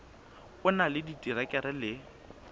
o na le diterekere le